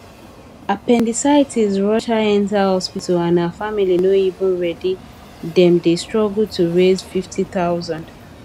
appendicitis rush her enter hospital and her family no even ready dem dey struggle to raise 50000